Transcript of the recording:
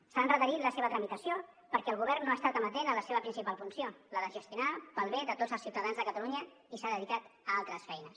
s’ha endarrerit la seva tramitació perquè el govern no ha estat amatent a la seva principal funció la de gestionar pel bé de tots els ciutadans de catalunya i s’ha dedicat a altres feines